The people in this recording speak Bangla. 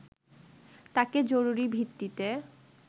তাকে জরুরি ভিত্তিতে